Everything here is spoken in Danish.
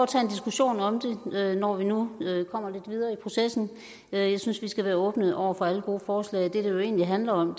tage en diskussion om det når vi nu kommer lidt videre i processen jeg synes vi skal være åbne over for alle gode forslag det det jo egentlig handler om